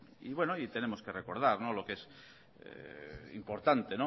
y bueno y tenemos que recordar lo que es importante